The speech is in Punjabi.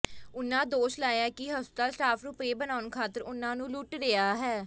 ਉਨ੍ਹਾਂ ਦੋਸ਼ ਲਾਇਆ ਕਿ ਹਸਪਤਾਲ ਸਟਾਫ ਰੁਪਏ ਬਣਾਉਣ ਖਾਤਰ ਉਨ੍ਹਾਂ ਨੂੰ ਲੁੱਟ ਰਿਹਾ ਹੈ